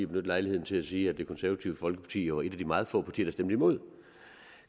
benytte lejligheden til at sige at det konservative folkeparti var et af de meget få partier der stemte imod